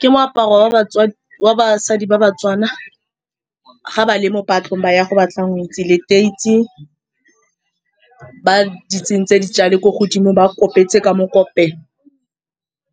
Ke moaparo wa batswadi, wa basadi ba Batswana. Ga ba le mo patlong, ba ya go batla ngwetsi. Leteisi ba di tsentse ko godimo, ba kopetse ka mokopelo,